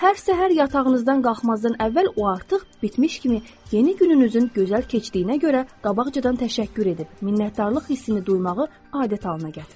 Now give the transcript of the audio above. Hər səhər yatağınızdan qalxmazdan əvvəl o artıq bitmiş kimi yeni gününüzün gözəl keçdiyinə görə qabaqcadan təşəkkür edib minnətdarlıq hissini duymağı adət halına gətirin.